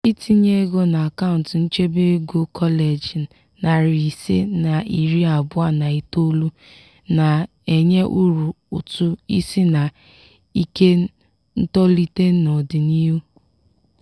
itinye ego n'akaụntụ nchebe ego kọleji narị ise na iri abụọ na itolu na-enye uru ụtụ isi na ike ntolite n'ọdịnihu.